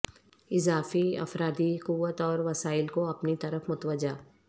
اضافی افرادی قوت اور وسائل کو اپنی طرف متوجہ